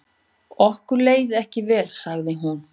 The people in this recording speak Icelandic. Okkur leið ekki vel sagði hún.